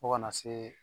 Fo kana se